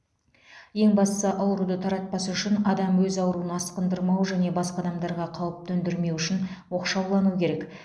ең бастысы ауруды таратпас үшін адам өз ауруын асқындырмау және басқа адамдарға қауіп төндірмеу үшін оқшаулануы керек